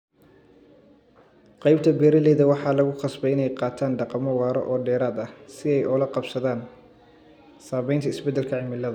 Qaybta beeralayda waxaa lagu qasbay in ay qaataan dhaqammo waara oo dheeraad ah si ay ula qabsadaan saameynta isbeddelka cimilada.